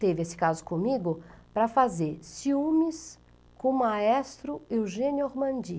teve esse caso comigo, para fazer ciúmes com o maestro Eugênio Ormandi.